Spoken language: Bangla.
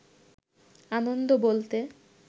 আনন্দ বলতে